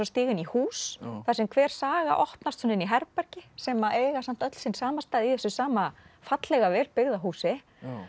stíga inn í hús þar sem hver saga opnast inn í herbergi sem eiga samt öll sinn samastað í þessu sama fallega vel byggða húsi